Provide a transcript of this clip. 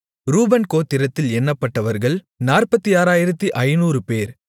ரூபன் கோத்திரத்தில் எண்ணப்பட்டவர்கள் 46500 பேர்